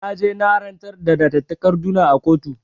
Na je na rantsar da da takarduna a kotu